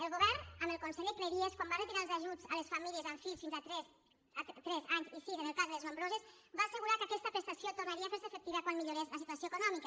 el govern amb el conseller cleries quan va retirar els ajuts a les famílies amb fills fins a tres anys i sis en el cas de les nombroses va assegurar que aquesta prestació tornaria a fer se efectiva quan millorés la situació econòmica